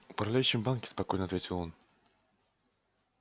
управляющим в банке спокойно ответил он